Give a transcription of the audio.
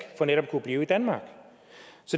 for netop at kunne blive i danmark